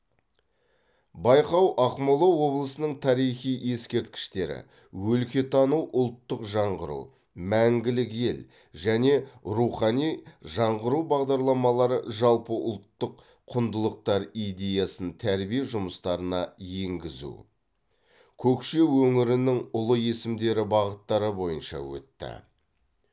байқау ақмола облысының тарихи ескерткіштері өлкетану ұлттық жаңғыру мәңгілік ел және рухани жаңғыру бағдарламалары жалпы ұлттық құндылықтар идеясын тәрбие жұмыстарына енгізу көкше өңірінің ұлы есімдері бағыттары бойынша өтті